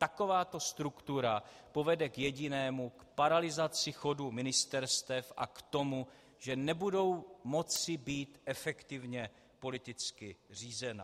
Takováto struktura povede k jedinému - k paralyzaci chodu ministerstev a k tomu, že nebudou moci být efektivně politicky řízena.